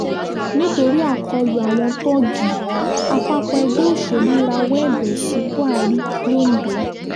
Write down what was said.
nítorí àkọlù àwọn tọ́ọ̀gì àpapọ̀ ẹgbẹ́ òsèlú rawọ́ ẹ̀bẹ̀ sí buhari londo